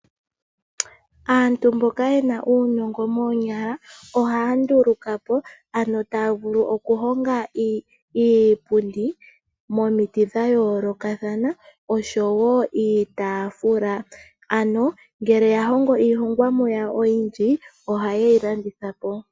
Aantu mboka ye na uunongo moonyala ohaya nduluka po, ano taya vulu okuhonga iipundi momiti dha yoolokathana nosho wo iitaafula. Uuna ya hongo iihongomwa yawo oyindji ohaye yi landitha po.